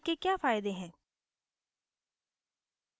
irctc के क्या फायदे हैं